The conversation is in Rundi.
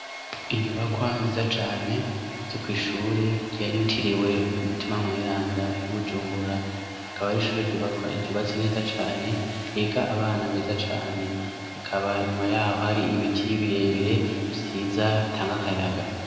Inyubakwa nziza cane zo kw'ishure ryitiriwe Mutima Mweranda y'i Bujumbura, akaba ari ishure ryubatse neza cane higa abana beza cane, ikaba inyuma yaho hari ibiti birebire vyiza bitanga akayaga.